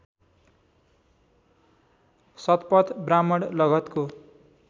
Shatapatha Brahmana लगधको